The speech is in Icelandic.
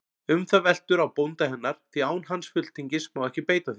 Um það veltur á bónda hennar, því án hans fulltingis má ekki beita því.